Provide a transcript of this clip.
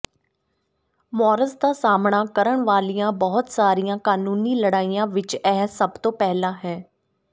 ਮੌਰਸ ਦਾ ਸਾਹਮਣਾ ਕਰਨ ਵਾਲੀਆਂ ਬਹੁਤ ਸਾਰੀਆਂ ਕਾਨੂੰਨੀ ਲੜਾਈਆਂ ਵਿੱਚ ਇਹ ਸਭ ਤੋਂ ਪਹਿਲਾਂ ਹੈ